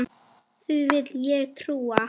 Því vil ég trúa!